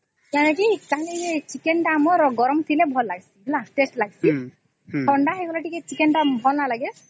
କଣ ହେଇଚି ଯୋଉ chicken ଟା ଆମର ଗରମ ଥିଲେ ଭଲ ଲାଗେ taste ଲାଗିଛେ ଥଣ୍ଡା ହେଇଗଲେ ଟିକେ chicken ଟା ଭଲ ନାଇଁ ଲାଗେ